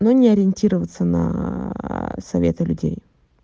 ну не ориентироваться наа советы людей